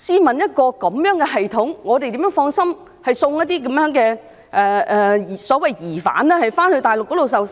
面對這樣的系統，我們怎能放心將一些所謂疑犯移送大陸受審。